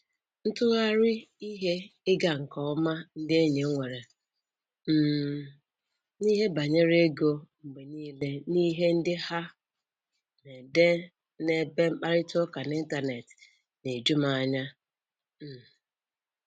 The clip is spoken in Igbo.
Ntụnyere ihe ịga nke ọma ndị enyi m nwere um n'ihe banyere ego mgbe nile n'ihe ndị ha na-ede n'ebe mkparịta ụka n'Intanet na-eju m anya. um